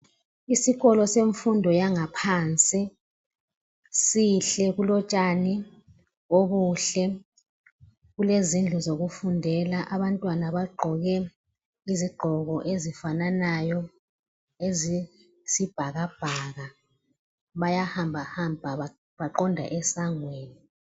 Isikolo semfundo yangaphansi sihle kulotshani obuhle. Kulezindlu zokufundela. Abantwana bagqoke izigqoko ezifananayo ezesibhakabhaka. Bayahamba hamba baqonda esangweni.